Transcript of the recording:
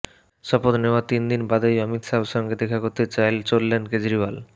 শপথ নেওয়ার তিন দিন বাদেই অমিত শাহের সঙ্গে দেখা করতে চললেন কেজরিওয়াল